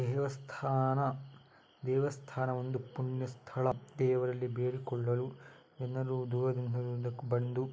ದೇವಸ್ಥಾನ ದೇವಸ್ಥಾನ ಒಂದು ಪುಣ್ಯ ಸ್ಥಳ ದೇವರಲ್ಲಿ ಬೇಡಿಕೊಳ್ಳಲು ಎಲ್ಲರೂ ದೂರದಿಂದ ಬಂದು--